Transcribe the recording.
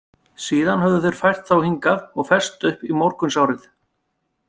Síðan höfðu þeir fært þá hingað og fest upp í morgunsárið.